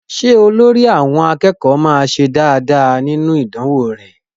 Ṣé olórí àwọn akẹ́kọ̀ọ́ máa ṣe nínú ìdánwó rẹ?